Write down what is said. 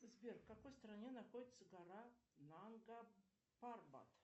сбер в какой стране находится гора нанга парбат